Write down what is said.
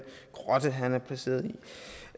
grotte han er placeret i